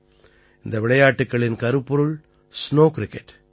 இந்த விளையாட்டுக்களின் கருப்பொருள் ஸ்நோ கிரிக்கெட்